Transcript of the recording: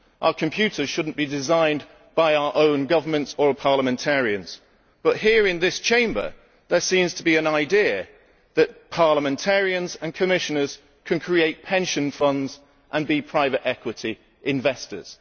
Our computers should not be designed by our own governments or parliamentarians, but here in this Chamber there seems to be an idea that parliamentarians and Commissioners can create pension funds and be private equity investors.